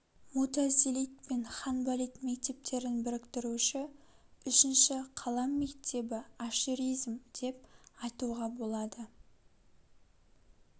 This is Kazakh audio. мутазилит пен ханбалит мектептерін біріктіруші үшінші қалам мектебі аширизм деп айтуға болады